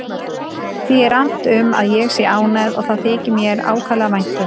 Því er annt um að ég sé ánægð og það þykir mér ákaflega vænt um.